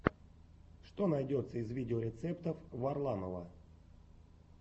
что найдется из видеорецептов варламова